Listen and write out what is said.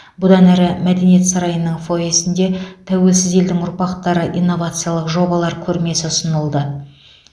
бұдан әрі мәдениет сарайының фойесінде тәуелсіз елдің ұрпақтары инновациялық жобалар көрмесі ұсынылды